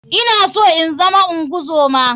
I na so inzama ungozoma.